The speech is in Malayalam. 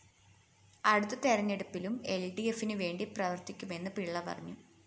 അടുത്ത തെരഞ്ഞെടുപ്പിലും എല്‍ഡിഎഫിനു വേണ്ടി പ്രവര്‍ത്തിക്കുമെന്നും പിള്ള പറഞ്ഞു